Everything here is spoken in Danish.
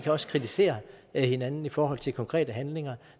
også kritisere hinanden i forhold til konkrete handlinger